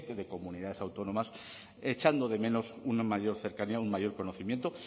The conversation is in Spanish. de comunidades autónomas echando de menos una mayor cercanía un mayor conocimiento